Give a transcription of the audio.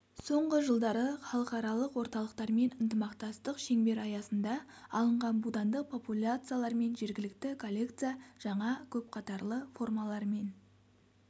соңғы жылдары халықаралық орталықтармен ынтымақтастық шеңбер аясында алынған будандық популяциялармен жергілікті коллекция жаңа көпқатарлы формалармен